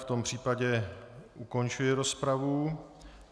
V tom případě ukončuji rozpravu.